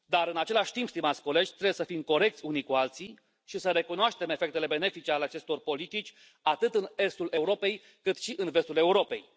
Dar, în același timp, stimați colegi, trebuie să fim corecți unii cu alții și să recunoaștem efectele benefice ale acestor politici, atât în estul Europei, cât și în vestul Europei.